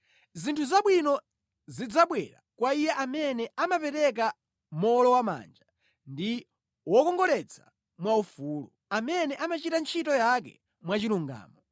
Zinthu zabwino zidzabwera kwa iye amene amapereka mowolowamanja ndi wokongoletsa mwaufulu, amene amachita ntchito yake mwachilungamo.